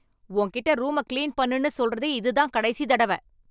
உன்கிட்ட ரூமக் கிளீன் பண்ணுன்னு சொல்றது இதுதான் கடைசி தடவ.